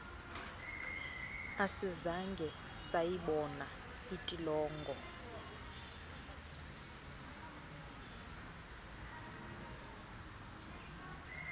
asizange sayibona intolongo